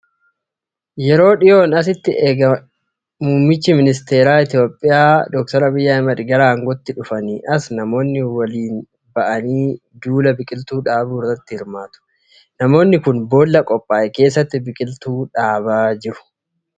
Yeroo dhiyoon asitti ega erga muummichi ministeeraa Itiyoophiyaa Abiyyi Ahimed gara aangooyti dhuganii as, namoonni waliin ba'anii duula biqiltuu dhaabuu irratti hirmaatu. Namoonni kun boolla qophaa'e keessa biqiltuu dhaabaa jiru.